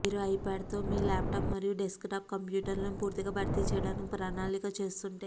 మీరు ఐప్యాడ్ తో మీ లాప్టాప్ మరియు డెస్క్టాప్ కంప్యూటర్లను పూర్తిగా భర్తీ చేయడానికి ప్రణాళిక చేస్తుంటే